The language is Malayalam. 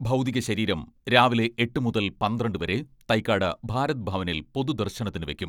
ഭൗതിക ശരീരം രാവിലെ എട്ട് മുതൽ പന്ത്രണ്ട് വരെ തൈക്കാട് ഭാരത് ഭവനിൽ പൊതുദർശനത്തിന് വെക്കും.